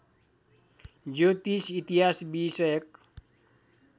ज्योतिष इतिहास विषयक